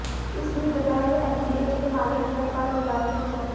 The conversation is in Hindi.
इसी बीच दोपहर में एमडीएच के मालिक धर्मपाल गुलाटी भी पहुंचे